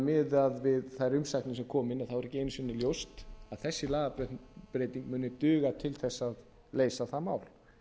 miðað við þær umsagnir sem komu inn er ekki einu sinni ljóst að þessi lagabreyting muni duga til þess að leysa það mál